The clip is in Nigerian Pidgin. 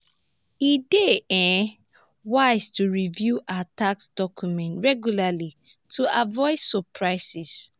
e dey um wise to review our tax documents regularly to avoid surprises.